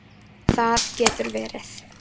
Það getur verið